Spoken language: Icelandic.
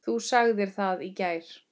Þú sagðir það í gær.